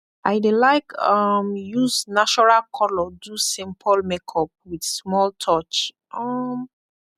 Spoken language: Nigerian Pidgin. i dey laik um yus nashoral kolor do simpol makeup wit smoll touch um